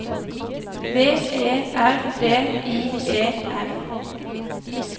V E R D I E R